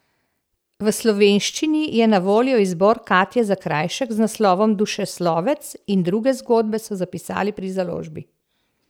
V slovenščini je na voljo izbor Katje Zakrajšek z naslovom Dušeslovec in druge zgodbe, so zapisali pri založbi.